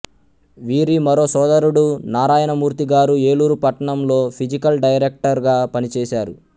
వీరి మరో సోదరుడు నారాయణమూర్తి గారు ఏలూరు పట్టణంలో ఫిజికల్ డైరెక్టర్ గా పనిచేశారు